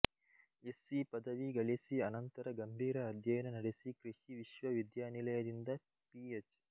SC ಪದವಿ ಗಳಿಸಿ ಅನಂತರ ಗಂಭೀರ ಅಧ್ಯಯನ ನಡೆಸಿ ಕೃಷಿ ವಿಶ್ವವಿದ್ಯಾನಿಲಯದಿಂದ ಪಿಎಚ್